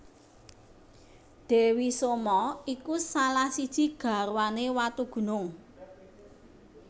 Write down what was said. Dewi Soma iku salah siji garwane Watugunung